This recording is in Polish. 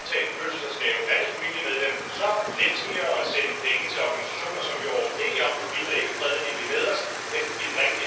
Wręcz przeciwnie, zachęci obywateli Europy, aby głosowali przeciwko tym, którzy za nią głosowali.